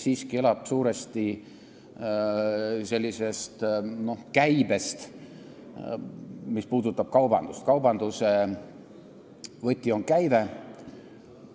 Mis puudutab kaubandust, siis kaubandus elab suuresti käibe tõttu, kaubanduse võti on käive.